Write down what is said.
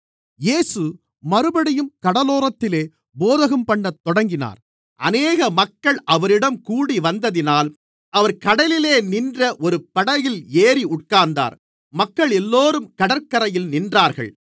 இயேசு மறுபடியும் கடலோரத்திலே போதகம்பண்ணத் தொடங்கினார் அநேக மக்கள் அவரிடம் கூடிவந்ததினால் அவர் கடலிலே நின்ற ஒரு படகில் ஏறி உட்கார்ந்தார் மக்களெல்லோரும் கடற்கரையில் நின்றார்கள்